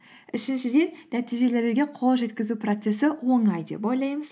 үшіншіден нәтижелерге қол жеткізу процессі оңай деп ойлаймыз